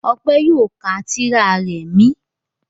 Ọpẹ́ yóò ka tírà rẹ̀ m